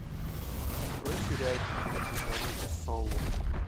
открой сериальчик лучше звоните солу